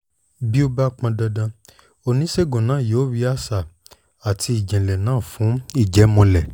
bí ó bá pọn dandan oníṣègùn náà yóò rí àṣà àti ìjìnlẹ̀ náà fún ìjẹ́múlẹ̀